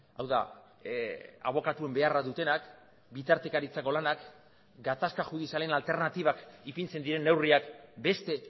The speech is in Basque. hau da abokatuen beharra dutenak bitartekaritzako lanak gatazka judizialen alternatibak ipintzen diren neurriak beste